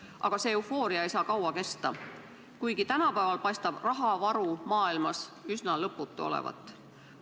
Aga see eufooria ei saa kaua kesta, kuigi tänapäeval paistab rahavaru maailmas üsna lõputu olevat.